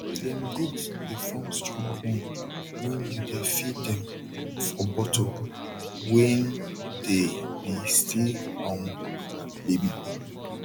dem goat dey form strong bond wen u dey feed dem for bottle wen dey be still um baby